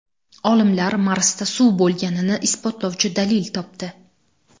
Olimlar Marsda suv bo‘lganini isbotlovchi dalil topdi.